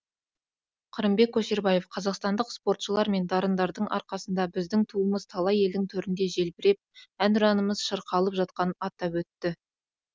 қырымбек көшербаев қазақстандық спортшылар мен дарындардың арқасында біздің туымыз талай елдің төрінде желбіреп әнұранымыз шырқалып жатқанын атап өтті